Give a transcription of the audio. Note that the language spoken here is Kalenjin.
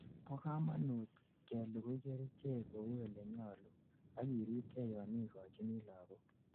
bo kamanut kelugui kerichek kou olenyalu, akiribkei yon igochini lagok